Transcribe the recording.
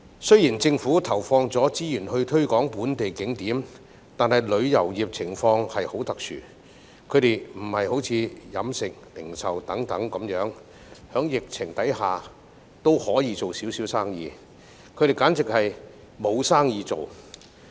雖然政府投放資源推廣本地景點，但旅遊業情況特殊，有別於飲食、零售等行業，在疫情下仍有小量生意，旅遊業簡直沒有生意。